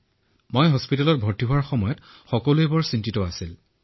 যেতিয়া মোক চিকিৎসালয়ত ভৰ্তি কৰোৱা হৈছিল তেতিয়া খুব চিন্তিত আছিল